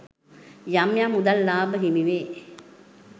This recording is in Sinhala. යම් යම් මුදල් ලාභ හිමිවේ.